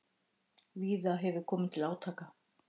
Víða hefur komið til átaka